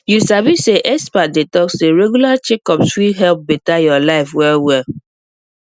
you sabi say experts dey talk say regular checkups fit help better your life well well